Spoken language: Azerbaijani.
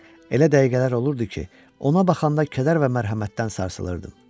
Elə dəqiqələr olurdu ki, ona baxanda kədər və mərhəmətdən sarsılırdım.